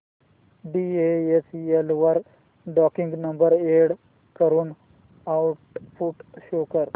DHL वर tracking number enter करून output show कर